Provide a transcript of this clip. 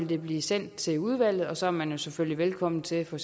det blive sendt til udvalget og så er man selvfølgelig velkommen til for